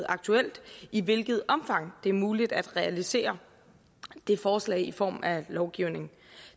aktuelt i hvilket omfang det er muligt at realisere det forslag i form af lovgivning